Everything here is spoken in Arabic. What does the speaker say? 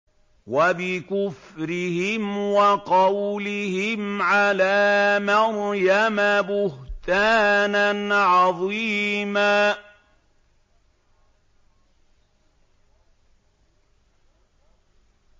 وَبِكُفْرِهِمْ وَقَوْلِهِمْ عَلَىٰ مَرْيَمَ بُهْتَانًا عَظِيمًا